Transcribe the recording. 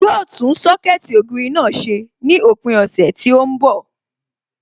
Yóò tún Sọ́kẹ̀tì ògiri náà ṣe ní òpin ọ̀sẹ̀ tí ó ń bọ̀